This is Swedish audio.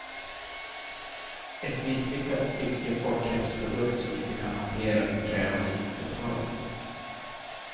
Ett misslyckat stycke folkhemsprodukt som inte kan hantera det krävande nittiotalet.